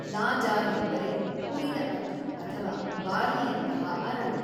ಲಾಜಾ ಎಂದರೆ ಹುರಿದ ಅಕ್ಕಿ ಅಥವಾ ಬಾರ್ಲಿಯಂತಹ ಅರಳು.